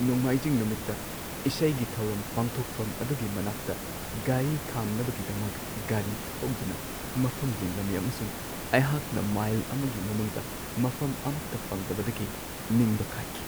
ꯅꯣꯡꯃꯥꯏꯖꯤꯡ ꯅꯨꯃꯤꯠꯇ ꯏꯁꯩꯒꯤ ꯊꯧꯔꯝ ꯄꯥꯡꯊꯣꯛꯐꯝ ꯑꯗꯨꯒꯤ ꯃꯅꯥꯛꯇ ꯒꯥꯔꯤ ꯈꯥꯝꯅꯕꯒꯤꯗꯃꯛ ꯒꯥꯔꯤ ꯊꯧꯗꯨꯅ ꯃꯐꯝ ꯌꯦꯡꯂꯝꯃꯤ ꯑꯃꯁꯨꯡ ꯑꯩꯍꯥꯛꯅ ꯃꯥꯏꯜ ꯑꯃꯒꯤ ꯃꯅꯨꯡꯗ ꯃꯐꯝ ꯑꯃꯠꯇ ꯐꯪꯗꯕꯗꯒꯤ ꯅꯤꯡꯕ ꯀꯥꯏꯈꯤ ꯫